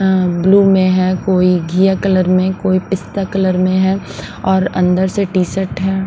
Blue में है कोई घिया कलर में कोई पिस्ता कलर में है और अंदर से टी-शर्ट है।